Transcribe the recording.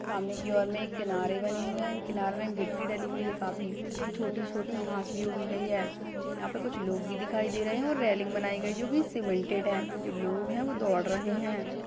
सामने की और में किनारे बने हुए है किनारे में गिट्टी डाली हुए है काफी छोटी-छोटी घांसी भी उगी हुई है यहाँ पर कुछ लोग भी दिखाई दे रहे है और रेलिंग बनाई गयी है जो कि सीमेंटेड है जो लोग है वो दौड़ रहे है।